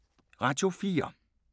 Radio 4